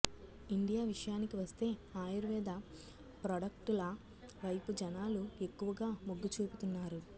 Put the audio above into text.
India విషయానికి వస్తే ఆయుర్వేద ప్రాడక్టుల వైపు జనాలు ఎక్కువగా మొగ్గు చూపుతున్నారు